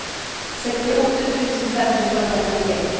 sekstiåtte tusen fem hundre og trettitre